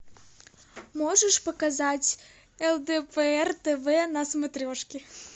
можешь показать лдпр тв на смотрешке